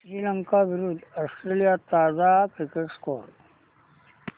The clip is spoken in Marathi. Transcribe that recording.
श्रीलंका विरूद्ध ऑस्ट्रेलिया ताजा क्रिकेट स्कोर